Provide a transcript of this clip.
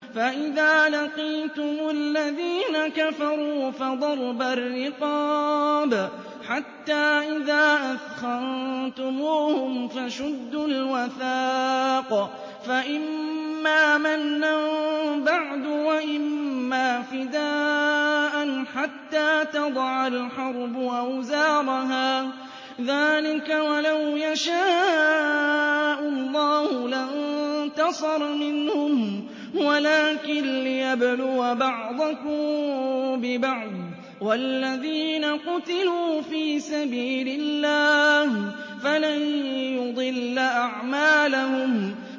فَإِذَا لَقِيتُمُ الَّذِينَ كَفَرُوا فَضَرْبَ الرِّقَابِ حَتَّىٰ إِذَا أَثْخَنتُمُوهُمْ فَشُدُّوا الْوَثَاقَ فَإِمَّا مَنًّا بَعْدُ وَإِمَّا فِدَاءً حَتَّىٰ تَضَعَ الْحَرْبُ أَوْزَارَهَا ۚ ذَٰلِكَ وَلَوْ يَشَاءُ اللَّهُ لَانتَصَرَ مِنْهُمْ وَلَٰكِن لِّيَبْلُوَ بَعْضَكُم بِبَعْضٍ ۗ وَالَّذِينَ قُتِلُوا فِي سَبِيلِ اللَّهِ فَلَن يُضِلَّ أَعْمَالَهُمْ